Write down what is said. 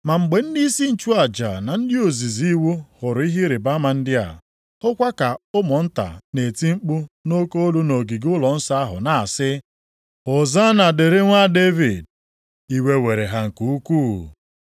Ma mgbe ndịisi nchụaja na ndị ozizi iwu hụrụ ihe ịrịbama ndị a, hụkwa ka ụmụnta na-eti mkpu nʼoke olu nʼogige ụlọnsọ ahụ, na-asị, “Hozanna dịrị Nwa Devid.” Iwe were ha nke ukwuu.